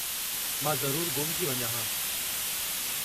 मां ज़रूरु गुम थी वञां हा।